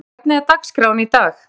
Vilbert, hvernig er dagskráin í dag?